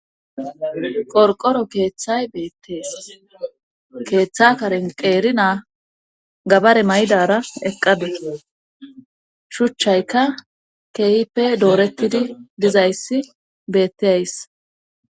Qorqoro keeththay beettees keeththa karen qeeri naa gabare maydara eqqade shuchchaykka keehipe doorettidi dizayssi beetteys.